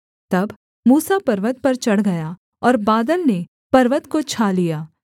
तब मूसा पर्वत पर चढ़ गया और बादल ने पर्वत को छा लिया